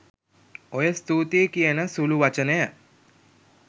ඔය ස්තුතියි කියන සුළු වචනය